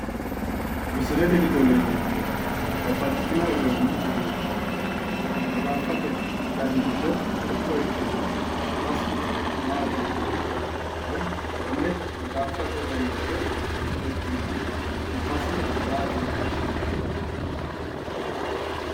Misilete giddo leellannohu babbaxxitino odoonna duduwo kulannoha maxaaffate dani giddo mitto ikkinoha su'masi maati yinanni woyi konne maxaaffate dani giddo mitto ikkinoha su'masi maati yine woshshinanni?